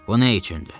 Bu nə üçündür?